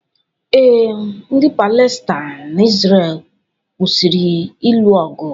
Ee, ndị Palestain na Izrel kwụsịrị ịlụ ọgụ